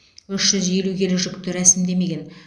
үш жүз елу келі жүкті рәсімдемеген